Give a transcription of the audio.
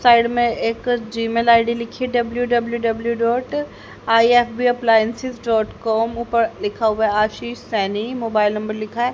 Side में एक Gmail I D लिखी है W W W dot I F B appliances dot com ऊपर लिखा हुआ है आशीष सैनी मोबाइल नंबर लिखा है।